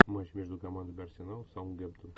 матч между командами арсенал саутгемптон